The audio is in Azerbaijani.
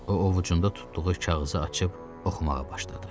O, ovucunda tutduğu kağızı açıb oxumağa başladı.